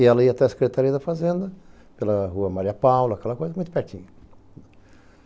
E ela ia até a Secretaria da Fazenda, pela Rua Maria Paula, aquela coisa, muito pertinho.